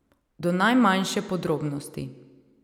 Do najmanjše podrobnosti.